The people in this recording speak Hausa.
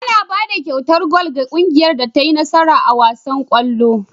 Ana bada kyautar gwal ga kungiyar da tai nasara a wasan kallo